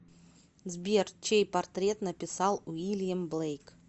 сбер чей портрет написал уильям блейк